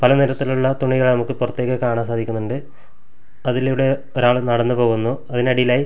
പല നിറത്തിലുള്ള തുണികളെ നമുക്ക് പൊറത്തേക്ക് കാണാൻ സാധിക്കുന്നുണ്ട് അതിലൂടെ ഒരാൾ നടന്നു പോകുന്നു അതിനടിയിലായി--